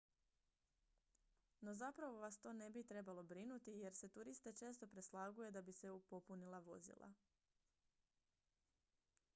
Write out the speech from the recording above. no zapravo vas to ne bi trebalo brinuti jer se turiste često preslaguje da bi se popunila vozila